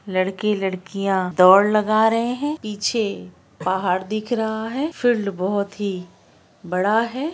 लड़की लड़किया दौड़ लगा रहे है पीछे पहाड़ दिख रहा है फील्ड बहुत ही बड़ा है ।